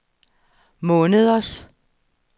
måneders